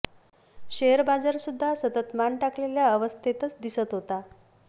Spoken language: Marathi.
शेअर बाजार सुद्धा सतत मान टाकलेल्या अवस्थेतच दिसत होता